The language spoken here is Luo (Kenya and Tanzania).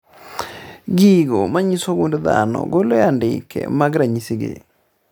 Gigo manyiso gund dhano golo andike mag ranyisi gi